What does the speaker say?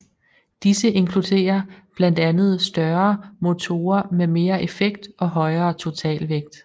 Disse inkluderer blandt andet større motorer med mere effekt og højere totalvægt